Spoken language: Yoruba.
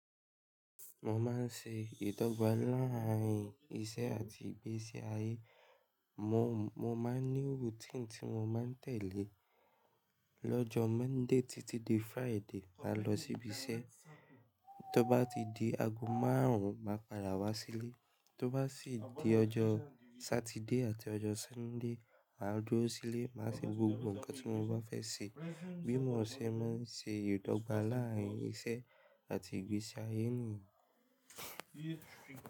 Mo máa ń ṣe ìdọ́gba láàrín iṣẹ́ àti ìgbésí ayé. Mo, mo máa ń ní routine tí mo máa ń tẹ̀lé. Lọ́jọ́ Monday títí di Friday, màá lọ síbi iṣẹ́. Tó bá ti di ago márùn-ún, màá padà wá sílé. Tó bá sì di ọjọ́ Saturday àti ọjọ́ Sunday, màá dúró sílé, màá ṣe gbogbo nǹkan tí mo bá fẹ́ ṣe. Bí mò ún ṣe máa ń ṣe ìdọ́gba láàrín iṣẹ́ àti ìgbésí ayé nìyí.